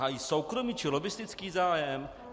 Hájí soukromý či lobbistický zájem?